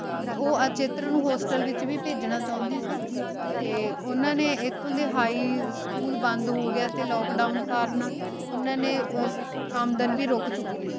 ਤੇ ਊ ਅਚਿਤਰ ਨੂ ਹੋਸਟਲ ਵਿਚ ਵੀ ਭੇਜਣਾ ਚੌਂਦੀ ਸੀ ਤੇ ਓਨਾਂ ਨੇ ਏਥੋਂ ਦੇ ਹਿਘ ਸਕੂਲ ਬੰਦ ਹੋਗਯਾ lockdown ਤੇ ਕਰਨ ਓਆਨਾ ਨੇ ਆਮਦਨ ਵੀ ਰੁਕ ਚੁਕੀ ਸੀ